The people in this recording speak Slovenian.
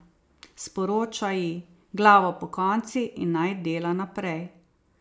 Sporoča ji: 'Glavo pokonci in naj dela naprej.